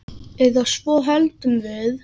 Eða svo héldum við.